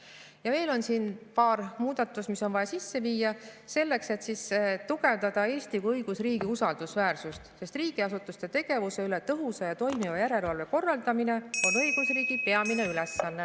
Ja veel on siin paar muudatust, mis on vaja sisse viia selleks, et tugevdada Eesti kui õigusriigi usaldusväärsust, sest riigiasutuste tegevuse üle tõhusa ja toimiva järelevalve korraldamine on õigusriigi peamine ülesanne.